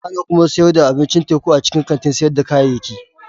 Ana kuma sayar da abincin teku a cikin kantin sayar da kayayyaki.